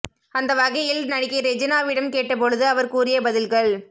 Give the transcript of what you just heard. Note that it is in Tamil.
அந்த வகையில் நடிகை ரெஜினாவிடம் கேட்ட பொழுது அவர் கூறிய பதில்கள்